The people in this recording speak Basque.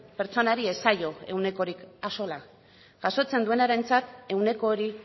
pertsonari ez zaio ehunekotik axola jasotzen duenarentzat ehuneko hori